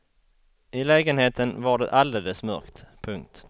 I lägenheten var det alldeles mörkt. punkt